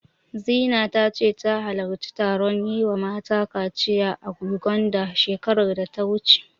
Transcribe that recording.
Zina ta ce, ta halarci taron yi wa mata kaciya a Yuganda, shekarar da ta wuce.